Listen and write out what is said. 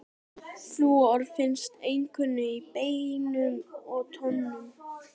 Flúor finnst einkum í beinum og tönnum.